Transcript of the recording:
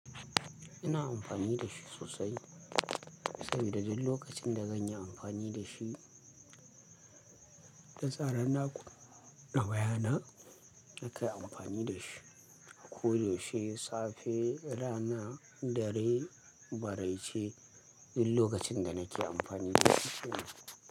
Ina amfani da shi sosai saboda duk lokacin da gani amfani da shi, da zaran na waya na nake amfani da shi. A koda yaushe safe, rana, dare, maraice duk lokacin da nake amfani da shi shine.